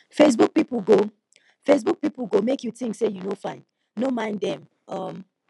facebook pipu go facebook pipu go make you tink say you no fine no mind dem um